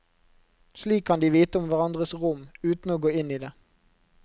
Slik kan de vite om hverandres rom, uten å gå inn i det.